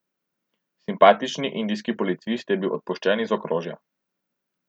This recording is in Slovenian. Simpatični indijski policist je bil odpuščen iz okrožja.